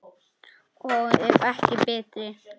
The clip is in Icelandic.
Og ef ekki betri!